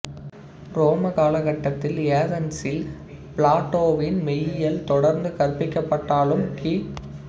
உரோமக் காலகட்டத்தில் ஏதென்சில் பிளாட்டோவின் மெய்யியல் தொடர்ந்து கற்பிக்கப்பட்டாலும் கி